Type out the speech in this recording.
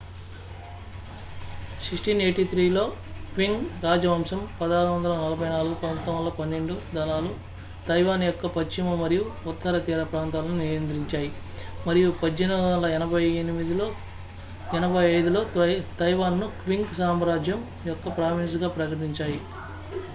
1683 లో క్వింగ్ రాజవంశం 1644-1912 దళాలు తైవాన్ యొక్క పశ్చిమ మరియు ఉత్తర తీర ప్రాంతాలను నియంత్రించాయి మరియు 1885 లో తైవాన్ను క్వింగ్ సామ్రాజ్యం యొక్క ప్రావిన్స్గా ప్రకటించాయి